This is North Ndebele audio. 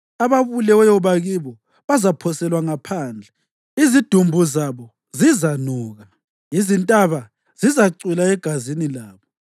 Ababuleweyo bakibo bazaphoselwa ngaphandle, izidumbu zabo zizanuka; izintaba zizacwila egazini labo.